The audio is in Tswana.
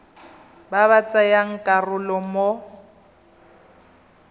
ba ba tsayang karolo mo